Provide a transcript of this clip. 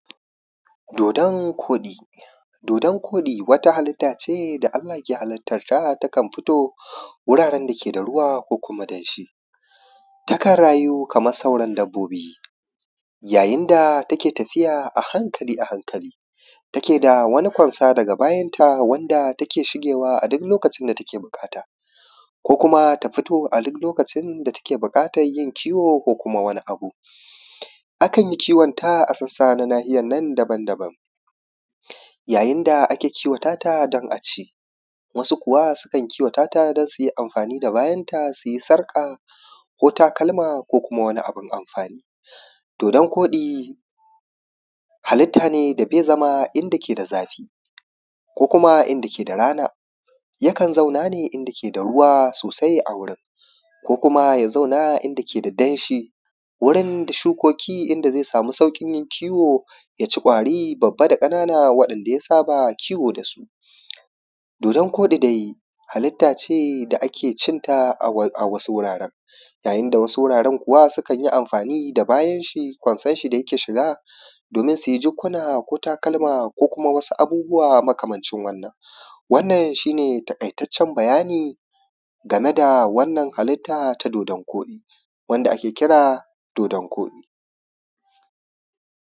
dodon koɗi dodon koɗi wata halitta ce da allah ke halittar ta takan fito guraren da ke da ruwa ko kuma danshi takan rayu kaman sauran dabbobi yayin da ta ke tafiya a hankali a hankali ta ke da wani konsa daga bayanta wanda ta ke shige wa a duk lokacin da ta ke buƙata ko kuma ta fito a duk lokacin da ta ke buƙatan yin kiwo ko kuma wani abun akan yi kiwon ta a na nahiyanta daban daban yayin da ake kiwata ta don a ci wasu kuwa su kan kiwata ta don su yi amfani da bayanta su yi sarƙa ko takalma ko kuma wani abun amfani dodon koɗi halitta ne da bai zama inda ke da zafi ko kuma a inda ke da rana yakan zauna ne inda ke da ruwa sosai a wurin ko kuma ya zauna a inda ke da danshi wurin shukoki idan zai samu sauƙin kiwo ya ci ƙwari babba da ƙanana waɗanda ya saba kiwo da su dodon koɗi dai halitta ce da a ke cinta a wasu wuraran yayin da wasu wuraran kuwa sukan yi amfani da bayan shi konsan shi da yake shiga domin su yi jikkuna ko takalma ko kuma wasu abubuwa makamancin wannan wannan shi ne taƙaitaccen bayani game da wannan halitta ta dodon koɗi wanda ake kira dodon koɗi